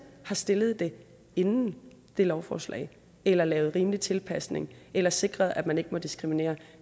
har stillet det inden det lovforslag eller lavet rimelig tilpasning eller sikret at man ikke må diskriminere